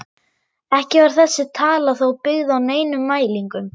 Ekki var þessi tala þó byggð á neinum mælingum.